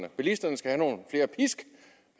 at bilisterne skal